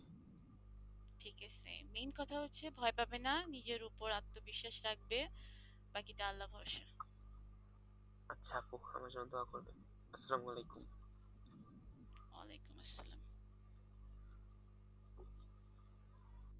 main কথা হচ্ছে ভয় পাবেনা নিজের উপর আত্মবিশ্বাস রাখবে।